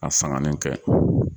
K"a sanganin kɛ